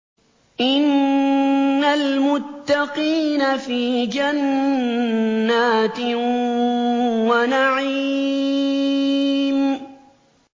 إِنَّ الْمُتَّقِينَ فِي جَنَّاتٍ وَنَعِيمٍ